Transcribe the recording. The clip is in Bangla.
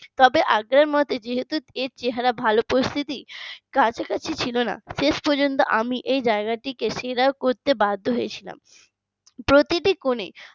তবে আগ্রার মধ্যে যেহেতু এর চেহারা ভালো পরিস্থিতি কাছাকাছি ছিল না শেষ পর্যন্ত আমি এই জায়গাটিকে সেরা করতে বাধ্য হয়েছিলাম। প্রতিটি কোণে